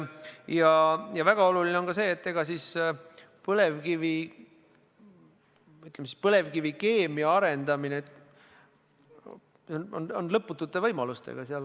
Ja väga oluline on ka see, et põlevkivikeemia arendamine on lõputute võimalustega.